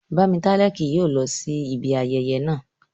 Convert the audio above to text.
Bámitálẹ́ kì yóò lọ sí ibi ayẹyẹ naa